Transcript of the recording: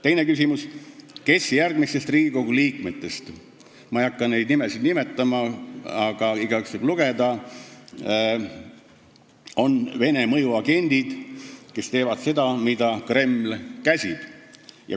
" Teine küsimus: "Kes järgmistest Riigikogu liikmetest on Vene mõjuagendid, kes teevad seda, mida Kreml käsib?